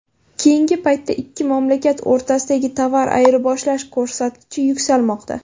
Keyingi paytda ikki mamlakat o‘rtasidagi tovar ayirboshlash ko‘rsatkichi yuksalmoqda.